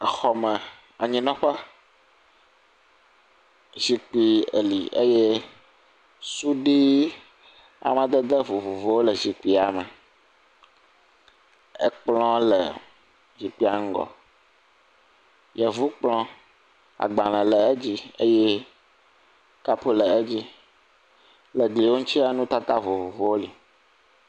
exɔ me anyinɔƒe zikpi e li eye suɖi amadede vovovowo le zikpia me ekplɔ le zikpia ŋgɔ yevukplɔ agbale le edzi eye cup le edzi le glia ŋutsia nutata vovovowo li